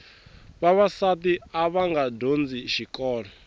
vavasati avanga dyondzi xikolo